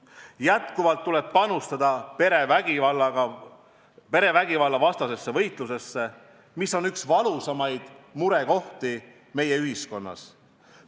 Jätkuvalt tuleb panustada perevägivalla vastu peetavasse võitlusse, mis on üks valusamaid murekohti meie ühiskonnas.